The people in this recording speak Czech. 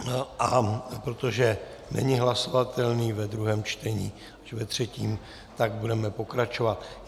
A protože není hlasovatelný ve druhém čtení, až ve třetím, tak budeme pokračovat.